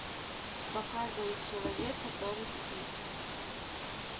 показывай человек который спит